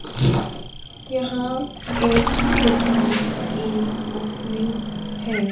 यहाँ एक दुकान की ओपनिंग है।